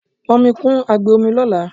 pọn omi kun agbe omi lola